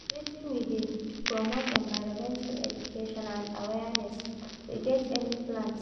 Wetin we dey do promote environmental education and awaereness, we get any plans?